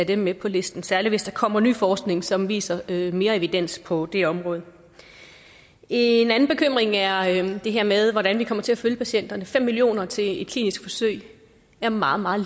dem med på listen særlig hvis der kommer ny forskning som viser mere evidens på det område en anden bekymring er det her med hvordan vi kommer til at følge patienterne fem million kroner til et klinisk forsøg er meget meget